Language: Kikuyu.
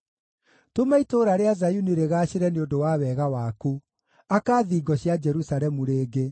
Tũma itũũra rĩa Zayuni rĩgaacĩre nĩ ũndũ wa wega waku; aka thingo cia Jerusalemu rĩngĩ.